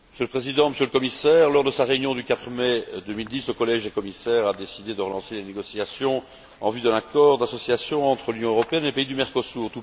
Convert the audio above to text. Monsieur le Président, Monsieur le Commissaire, lors de sa réunion du 4 mai 2010, le Collège des commissaires a décidé de relancer les négociations en vue d'un accord d'association entre l'Union européenne et les pays du Mercosur.